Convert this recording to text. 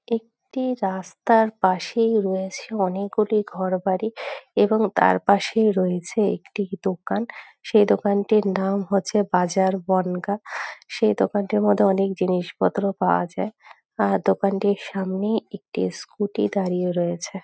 একটি রাস্তার পাশেই রয়েছে অনেকগুলি ঘরবাড়ি এবং তার পাশেই রয়েছে একটি দোকান সেই দোকানটির নাম হচ্ছে বাজার বনগাঁ। সেই দোকানটির মধ্যে অনেক জিনিসপত্র পাওয়া যায় আর দোকানটির সামনে একটি স্কুটি দাঁড়িয়ে রয়েছে।